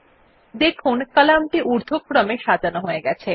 দেখুন কলামটি উর্ধক্রমে সাজানো হয়ে গেছে